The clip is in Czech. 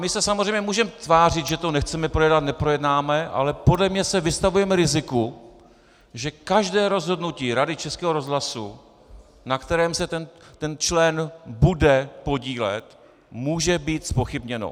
My se samozřejmě můžeme tvářit, že to nechceme projednat, neprojednáme, ale podle mě se vystavujeme riziku, že každé rozhodnutí Rady Českého rozhlasu, na kterém se ten člen bude podílet, může být zpochybněno.